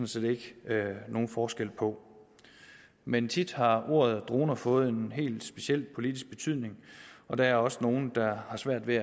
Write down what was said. set ikke nogen forskel på men tit har ordet droner fået en helt speciel politisk betydning og der er også nogle der har svært ved